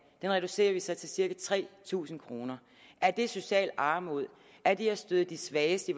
reducerer vi så til cirka tre tusind kroner er det social armod er det at støde de svageste i